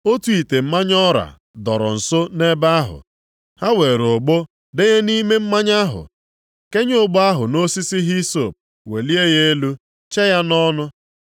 Otu ite mmanya ọra dọrọ nso nʼebe ahụ. Ha were ogbo denye nʼime mmanya ahụ, kenye ogbo ahụ nʼosisi hisọp welie ya elu chee ya nʼọnụ.